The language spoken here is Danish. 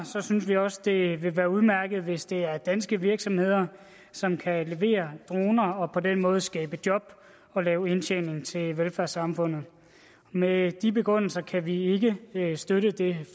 synes vi også det vil være udmærket hvis det er danske virksomheder som kan levere droner og på den måde skabe job og lave indtjening til velfærdssamfundet med de begrundelser kan vi ikke støtte det